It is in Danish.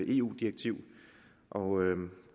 eu direktiv og